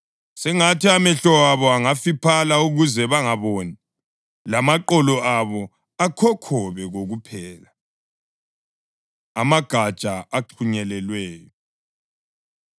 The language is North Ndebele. Sengathi amehlo abo angafiphala ukuze bangaboni, lamaqolo abo akhokhobe kokuphela.” + 11.10 AmaHubo 69.22-23 Amagatsha Axhunyelelweyo